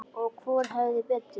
Og hvor hafði betur.